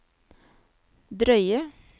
drøye